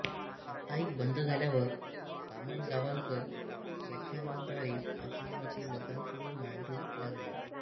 साप्ताहिक बंद झाल्यावर बामणगांवकर व्याख्यानांद्वारे आपली मते लोकांपुढे मांडू लागले